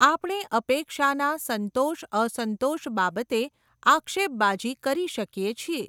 આપણે અપેક્ષાના સંતોષ અસંતોષ બાબતે આક્ષેપબાજી કરી શકીએ છીએ.